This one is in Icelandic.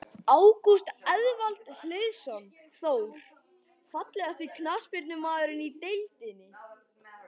Ágúst Eðvald Hlynsson, Þór.Fallegasti knattspyrnumaðurinn í deildinni?